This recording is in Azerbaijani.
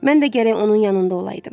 Mən də gərək onun yanında olaydım.